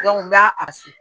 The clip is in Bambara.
n b'a a